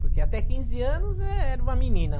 Porque até quinze anos era uma menina.